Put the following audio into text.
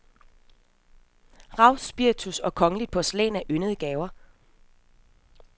Rav, spiritus og kongeligt porcelæn er yndede gaver.